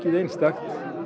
einstakt